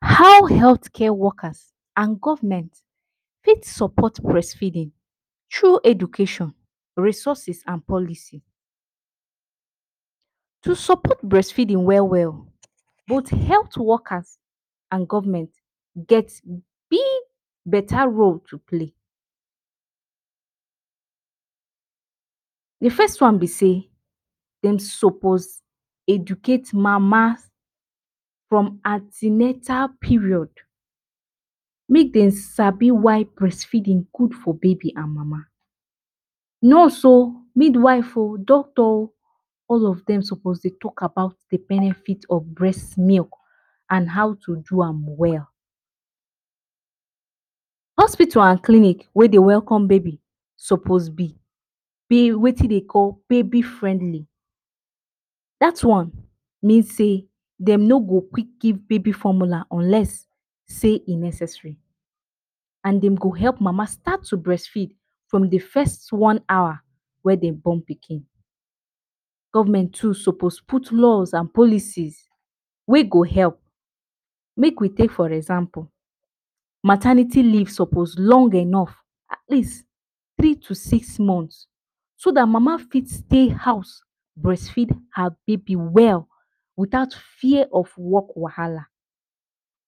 How health care workers and government go take sopot brest feedin thru education, resources and policy? To sopot brest feedin well well, both health workers and government get big beta role to play: The first one be sey, dem sopos educate mama from anti natal period, make dem sabi why brest feedin gud for baby and mama. Nurse o, midwife o, doctor o, all of dem sopos dey talk about the benefit of brest milk and how to do am well. Hospital and clinic wey dey welcome baby sopos be peh wetin de dey call baby friendly. Dat one mean sey, dem no go quick give baby formula unless sey e necessary and dem go help mama start to brest feed from the first one hour wey dem born pikin. Government too sopos put laws and policies wey go help. Make we take for example, maternity leave sopos long enof at least, three to six month, so dat mama feet stey house brest feed her baby well, without fear of work wahala.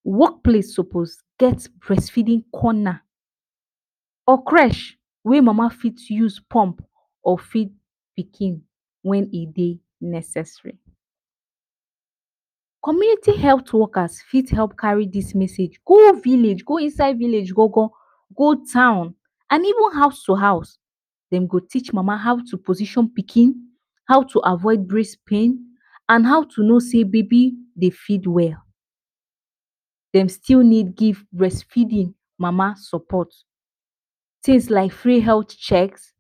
Work place sopos get brest feedin corner or crèche wey mama fit use pump or feed pikin wen e dey necessary. Community health workers fit help kari dis message go village, go inside village gon-gon, go town and even house to house. Dem go teach mama how to position pikin, how to avoid brest pain and how to no sey baby dey feed well, dem still need give brest feedin mama sopot, tins like free health chek,[um]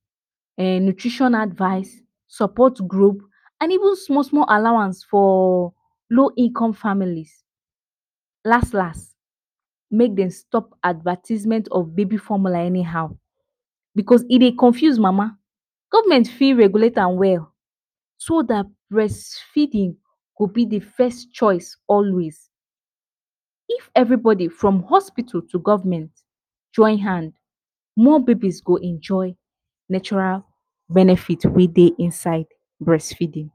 nutrition advice, sopot group and even small-small allowance for low income families. Las-las, mey dey stop advertisement of baby formula any how because e dey confuse mama. Government fit regulate am well, so dat brest feeding go be the first choice always. If every bodi from hospital to government join hand, more babies go enjoy natural benefit wey dey inside brest feedin.